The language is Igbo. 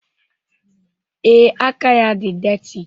Ee, aka ya dị detị